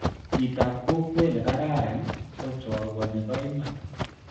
Chirab kokwe nikararan ko chorwe nipoiman.